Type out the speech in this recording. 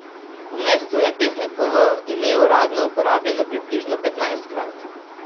V mestu je pesnikovo ime uradno uporabljeno približno petnajstkrat.